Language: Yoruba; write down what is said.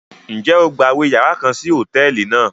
Njẹ o gbawe yàrá kàn sí hotẹẹli náà?